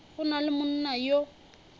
go na le monna yo